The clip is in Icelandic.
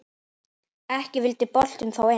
Ekki vildi boltinn þó inn.